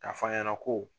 K'a fɔ an ɲɛna ko